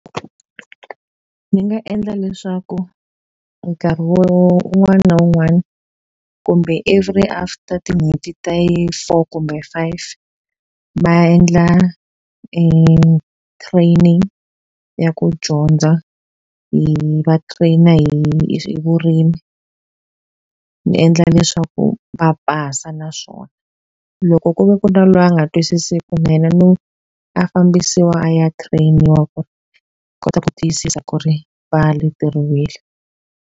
Ndzi nga endla leswaku nkarhi un'wana na un'wana, kumbe every after tin'hweti ta yi four kumbe five, va endla training ya ku dyondza hi va train-a hi hi vurimi. Ni endla na leswaku va pasa naswona. Loko ku ve ku na loyi a nga twisisiku na yena a fambisiwa a ya train-iwa ku ri hi kota ku tiyisisa ku ri va leteriwile.